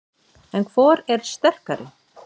En hvor er sterkari?